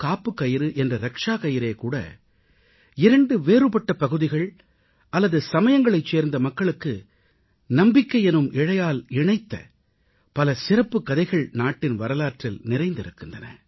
காப்புக் கயிறு என்ற ரக்ஷா கயிறே கூட இரண்டு வேறுபட்ட பகுதிகள் அல்லது சமயங்களைச் சார்ந்த மக்களுக்கு நம்பிக்கை எனும் இழையால் இணைத்த பல சிறப்புக் கதைகள் நாட்டின் வரலாற்றில் நிறைந்திருக்கின்றன